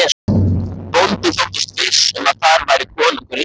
Bóndi þóttist viss um að þar færi konungur Íslands.